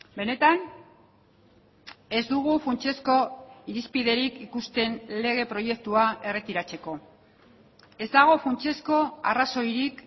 benetan ez dugu funtsezko irizpiderik ikusten lege proiektua erretiratzeko ez dago funtsezko arrazoirik